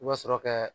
I bɛ sɔrɔ kɛ